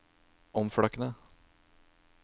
omflakkende